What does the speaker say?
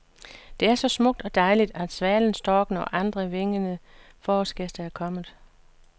Det er så smukt og dejligt, at svalen, storken og andre vingede forårsgæster er kommet.